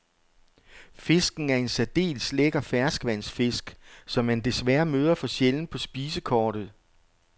Fisken er en særdeles lækker ferskvandsfisk, som man desværre møder for sjældent på spisekortet.